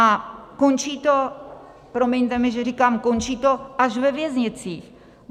A končí to, promiňte mi, že říkám končí to, až ve věznicích.